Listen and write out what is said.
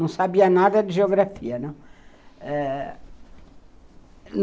Não sabia nada de geografia, né. Eh